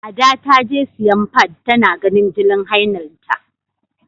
Ada ta je siyan fad, ta na ganin jinin hailanta.